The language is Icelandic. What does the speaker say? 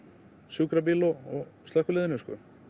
sjúkrabíl og slökkviliðinu